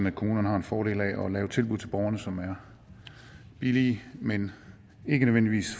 at kommunerne har en fordel af at lave tilbud til borgerne som er billige men ikke nødvendigvis